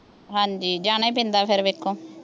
ਹਾਂਜੀ ਜਾਣਾ ਹੀ ਪੈਂਦਾ ਫੇਰ ਵੇਖੋ